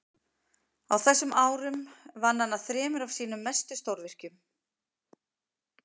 á þessum árum vann hann að þremur af sínum mestu stórvirkjum